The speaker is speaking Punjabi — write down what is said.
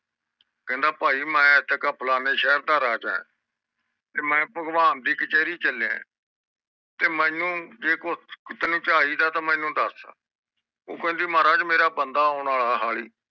ਕਹਿੰਦਾ ਮੈਂ ਭਾਈ ਫਲਾਨਏ ਸ਼ਹਿਰ ਦਾ ਰਾਜਾ ਤੇ ਮੈਂ ਭਗਵਾਨ ਦੇ ਕਚੈਰੀ ਚਲਿਆ ਜੇ ਤੈਨੂੰ ਕੁਜ ਚਾਹੀਦਾ ਮੈਂਨੂੰ ਦਸ ਉਹ ਕਹਿੰਦੀ ਮਹਾਰਾਜ ਮੇਰਾ ਬੰਦਾ ਆਉਣਾ ਵਾਲਾ ਹਾਲੀ